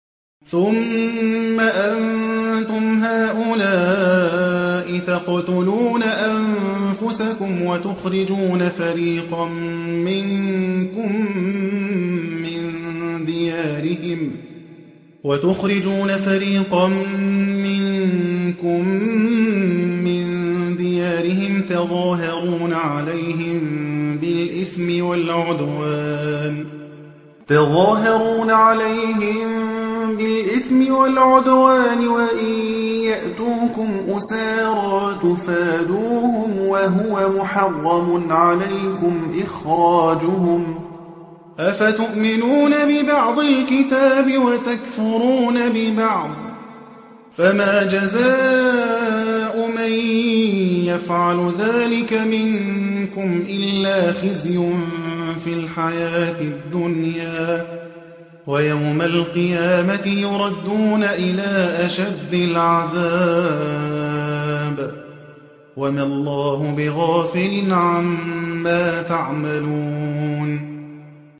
ثُمَّ أَنتُمْ هَٰؤُلَاءِ تَقْتُلُونَ أَنفُسَكُمْ وَتُخْرِجُونَ فَرِيقًا مِّنكُم مِّن دِيَارِهِمْ تَظَاهَرُونَ عَلَيْهِم بِالْإِثْمِ وَالْعُدْوَانِ وَإِن يَأْتُوكُمْ أُسَارَىٰ تُفَادُوهُمْ وَهُوَ مُحَرَّمٌ عَلَيْكُمْ إِخْرَاجُهُمْ ۚ أَفَتُؤْمِنُونَ بِبَعْضِ الْكِتَابِ وَتَكْفُرُونَ بِبَعْضٍ ۚ فَمَا جَزَاءُ مَن يَفْعَلُ ذَٰلِكَ مِنكُمْ إِلَّا خِزْيٌ فِي الْحَيَاةِ الدُّنْيَا ۖ وَيَوْمَ الْقِيَامَةِ يُرَدُّونَ إِلَىٰ أَشَدِّ الْعَذَابِ ۗ وَمَا اللَّهُ بِغَافِلٍ عَمَّا تَعْمَلُونَ